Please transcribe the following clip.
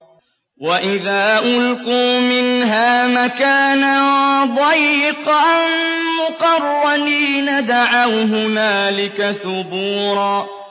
وَإِذَا أُلْقُوا مِنْهَا مَكَانًا ضَيِّقًا مُّقَرَّنِينَ دَعَوْا هُنَالِكَ ثُبُورًا